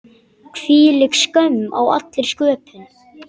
Hvílík skömm á allri sköpun.